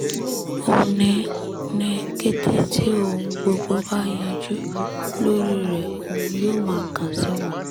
ó ní ní kété tí ohun gbogbo bá yanjú lórí rẹ òun yóò má kàn sí wọn